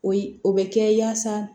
O yi o bɛ kɛ yaasa